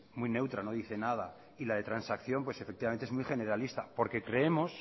muy neutra no dice nada y la de transacción es muy generalista porque creemos